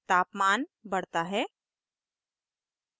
तापमान बढ़ता है